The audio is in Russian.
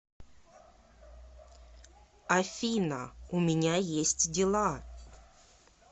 афина у меня есть дела